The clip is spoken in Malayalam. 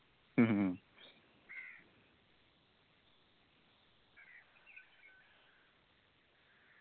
മ്മ് ഹ്മ്